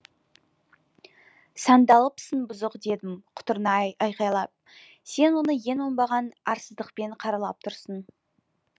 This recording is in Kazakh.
сандалыпсың бұзық дедім құтырына айқайлап сен оны ең оңбаған арсыздықпен қаралап тұрсың